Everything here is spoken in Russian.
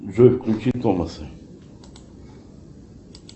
джой включи томаса